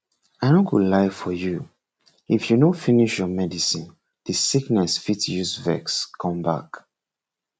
i no go lie for if you no finish your medicine the sickness fit use vex come back